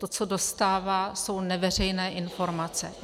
To, co dostává, jsou neveřejné informace.